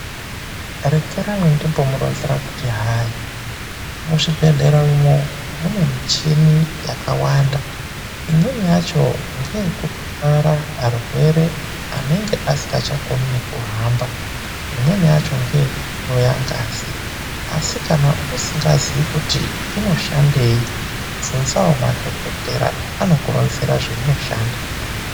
Rekerai ndimbomuronzera kuti hai, muzvibhedhlera umo mune michini yakawanda. Imweni yacho ndeye kutwara arwere anenge asingachakoni nekuhamba. Imweni yacho ndeye kuhloya ngazi asi kana usingazivi kuti inoshandei bvunzawo madhogodheya anokuronzera zvainoshanda.